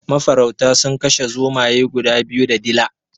Mafarauta sun kashe zomaye guda biyu da dila.